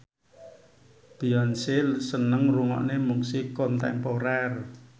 Beyonce seneng ngrungokne musik kontemporer